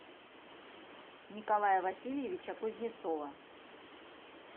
николая васильевича кузнецова